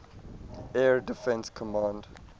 air defense command